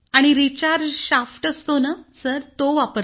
आणि recharge shaft असतो ना सर तो वापरलाय